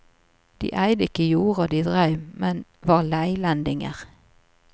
De eide ikke jorda de dreiv, men var leilendinger.